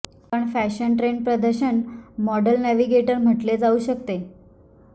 पण fashion trend प्रदर्शन model navigator म्हटले जाऊ शकते